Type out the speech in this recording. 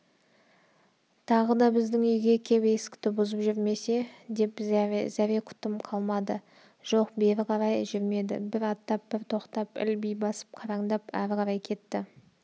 тағы да біздің үйге кеп есікті бұзып жүрмесе деп зәре-құтым қалмады жоқ бері қарай жүрмеді бір аттап бір тоқтап ілби басып қараңдап ары қарай кетті